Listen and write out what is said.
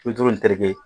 Bi duuru ni terikɛ